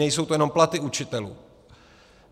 Nejsou to jenom platy učitelů.